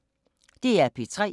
DR P3